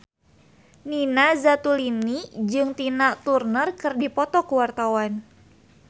Nina Zatulini jeung Tina Turner keur dipoto ku wartawan